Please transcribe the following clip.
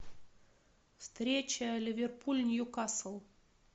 встреча ливерпуль ньюкасл